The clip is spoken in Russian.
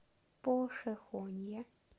пошехонье